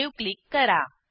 save click करा